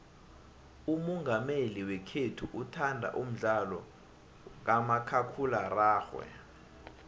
umongameli wekhethu uthanda umdlalo kamakhakhulararhwe